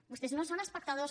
vostès no són espectadors